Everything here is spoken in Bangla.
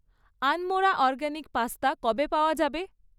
আনমরা অরগ্যানিক পাস্তা কবে পাওয়া যাবে?